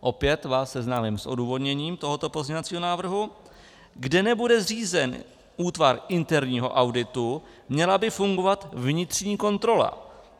Opět vás seznámím s odůvodněním tohoto pozměňovacího návrhu: Kde nebude zřízen útvar interního auditu, měla by fungovat vnitřní kontrola.